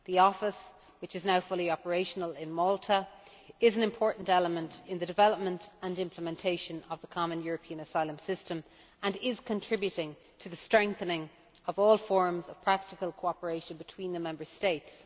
The office, in Malta, which is now fully operational, is an important element in the development and implementation of the common European asylum system and is contributing to the strengthening of all forms of practical cooperation between the Member States.